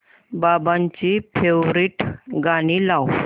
बाबांची फेवरिट गाणी लाव